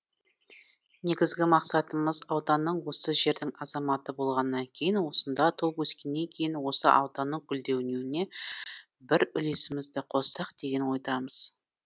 негізгі мақсатымыз ауданның осы жердің азаматы болғаннан кейін осында туып өскеннен кейін осы ауданның гүлденуіне бір үлесімізді қоссақ деген ойдамыз